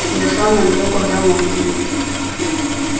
я сам наберу когда можно будет